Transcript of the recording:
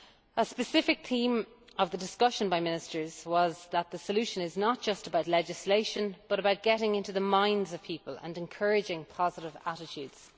A specific theme of the discussion by Ministers was that the solution is not just about legislation, but about getting into the minds of people and encouraging positive attitudes.